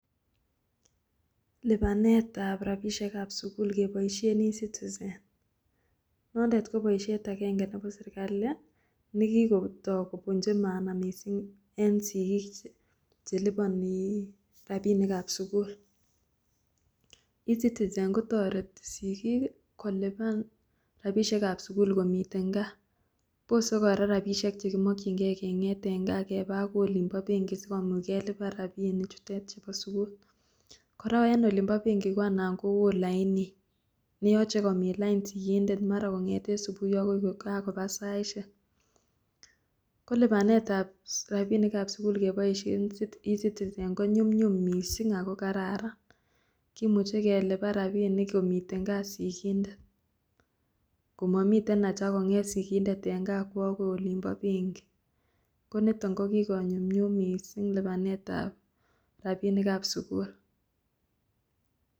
Lipanetab rapisiekab sikul keboisien 'ecitizen' noondet koboisiet akenge nebo serikali nekikotok kopunchi maana mising en sikik cheliponi rapinikab sikul, ecitizen kotoreti sikik kolipan rapisiekab sikul kong'eten kaa bose kora rapisiek chekimokyinge kengeet en kaa akoi olimpo benki sikaron kelipan rapinichutet chupo sikul, kora en olimpo benki ko anan kowoo lainit neyoche komin lain sikindet akoi kokakopa saisiek, ko lipanetab rapinikab sikul keboisien ecitizen konyumnyum mising ako kararan kimuche kelipan rapinik komiten kaa sikindet komomiten aja kong'et sikindet akwo akoi olimpo benki konito kokikonyumnyum mising lipanetab rapinikab sikul.